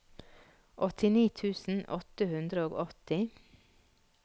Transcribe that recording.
åttini tusen åtte hundre og åtti